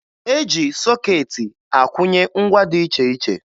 E ji sọkeetị akwụnye ngwa dị iche iche